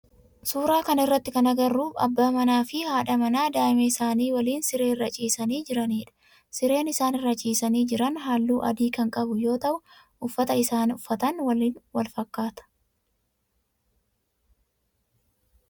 Suuraa kana irratti kan agarru abbaa manaa fi haadha manaa daa'ima isaanii waliin siree irra ciisanii jiranidha. Sireen isaan irra ciisanii jiran halluu adii kan qabu yoo ta'u uffata isaan uffatan waliin walfakkaata.